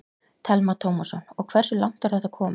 Telma Tómasson: Og hversu langt er þetta komið?